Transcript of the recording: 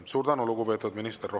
Suur tänu, lugupeetud minister!